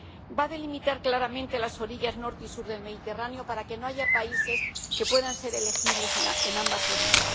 Va a delimitar claramente las orillas norte y sur del Mediterráneo, para que no haya países que puedan ser elegibles en ambas orillas.